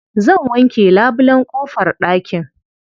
Zan wanke labulen ƙofar ɗakin.